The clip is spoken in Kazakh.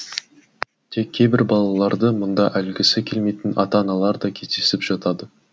тек кейбір балаларды мұнда әлгісі келмейтін ата аналар да кездесіп жатады